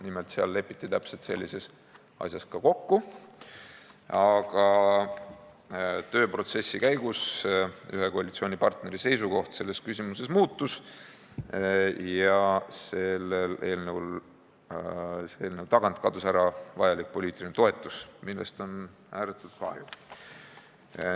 Nimelt lepiti seal täpselt sellises asjas kokku, aga tööprotsessi käigus ühe koalitsioonipartneri seisukoht selles küsimuses muutus ja eelnõu tagant kadus vajalik poliitiline toetus, millest on ääretult kahju.